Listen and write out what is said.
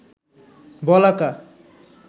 বলাকা